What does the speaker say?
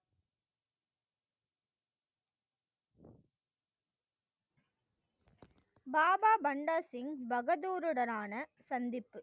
பாபா பண்டர் சிங் பகதூர் உடனான சந்திப்பு,